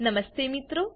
નમસ્તે મિત્રો